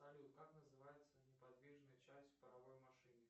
салют как называется неподвижная часть паровой машины